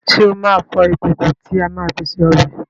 Ṣé o máa fọ ìkòkò tí a máa fi se ọbẹ̀